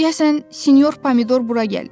Deyəsən sinyor pomidor bura gəlir.